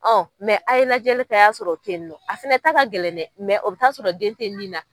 a ye lajɛli kɛ a y'a sɔrɔ o tɛ ye nɔ a fɛnɛ ta gɛlɛn dɛ o bɛ taa sɔrɔ den tɛ nin na.